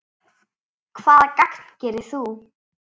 Hvaða gagn gerir þú?